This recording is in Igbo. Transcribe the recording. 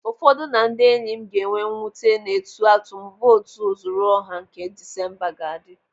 Ụfọdụ na ndị enyi m ga-enwe mwute n'etu atum votu ozuruọha nke Disemba ga-adị.